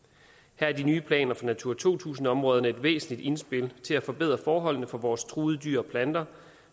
her er de nye planer for natura to tusind områderne et væsentligt indspil til at forbedre forholdene for vores truede dyr og planter